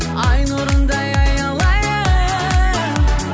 ай нұрындай аялайын